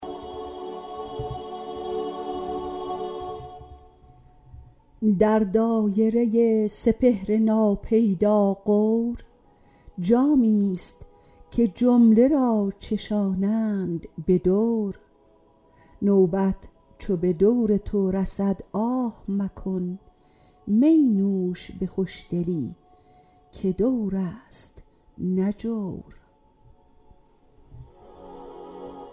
در دایره سپهر ناپیدا غور جامی ست که جمله را چشانند به دور نوبت چو به دور تو رسد آه مکن می نوش به خوشدلی که دور است نه جور